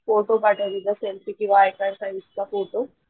photo पाठव selfie किंवा I card साईजचा फोटो